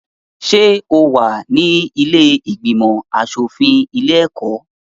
Ṣé o wà ní ilé ìgbìmọ̀-aṣòfin ilé-ẹ̀kọ́?